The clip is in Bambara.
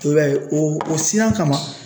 I b'a ye o o siran kama